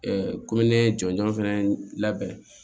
komi ne ye jɔnjɔn fana labɛn